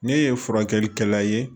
Ne ye furakɛlikɛla ye